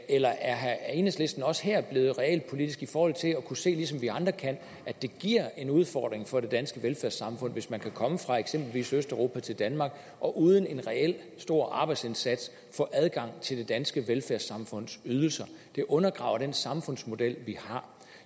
eller er enhedslisten også her blevet realpolitisk i forhold til at kunne se ligesom vi andre kan at det giver en udfordring for det danske velfærdssamfund hvis man kan komme fra eksempelvis østeuropa til danmark og uden en reel stor arbejdsindsats få adgang til det danske velfærdssamfunds ydelser og det undergraver den samfundsmodel vi har